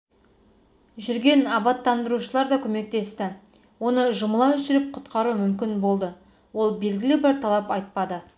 жүрген абаттандырушылар да көмектесті оны жұмыла жүріп құтқару мүмкін болды ол белгілі бір талап айтпады